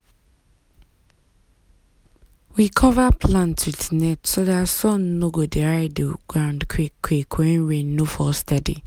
we cover plant with net so dat sun no go dry the ground quick quick when rain no fall steady.